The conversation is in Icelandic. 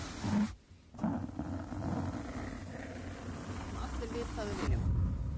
Við viljum einn af þessum þjálfurum sem allir vita að við viljum.